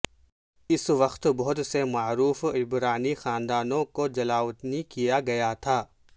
اس وقت بہت سے معروف عبرانی خاندانوں کو جلاوطن کیا گیا تھا